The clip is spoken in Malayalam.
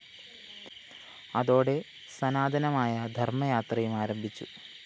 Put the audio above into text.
അതോടെ സനാതനമായ ധര്‍മയാത്രയും ആരംഭിച്ചു